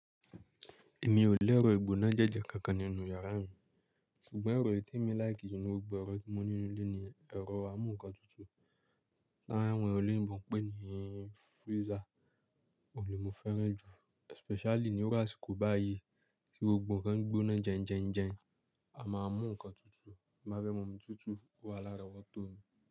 Èmi ò lérò ìgbóná jẹ́jẹ́ kankan nínú yàrá mi, ṣùgbọ́n ẹ̀rọ èyí tí èmi láìkí jù nínú gbogbo ẹ̀rọ tí mo nílò nílé ni ẹ̀rọ amúǹkantutù tí àwọn olóyìnbo ń pè ní freezer. Òun ni mo fẹ́ràn jù especially ní irú àsìkò báyìí tí gbogbo ǹkan ń gbóná jẹìn jẹìn jẹìn, a máa mú ǹkan tutù, má bẹ́ mọ̀ ọ́n tutù ó wa l'árọ́wọ́tó mi.